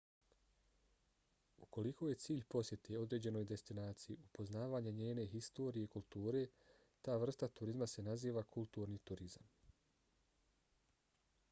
ukoliko je cilj posjete određenoj destinaciji upoznavanje njene historije i kulture ta vrsta turizma se naziva kulturni turizam